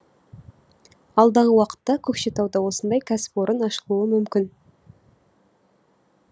алдағы уақытта көкшетауда осындай кәсіпорын ашылуы мүмкін